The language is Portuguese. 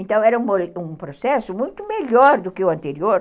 Então era um processo muito melhor do que o anterior.